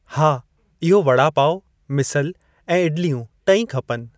हा इहो वड़ा पाव, मिसल ऐं इडलियूं टई खपनि।